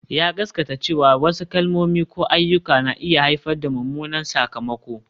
Ya gaskata cewa wasu kalmomi ko ayyuka na iya haifar da mummunan sakamako